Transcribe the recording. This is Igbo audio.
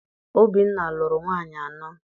Obinna lụrụ nwaanyị anọ.